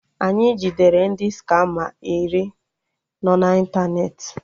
Anyị jidere ndị skama iri no na ịntanetị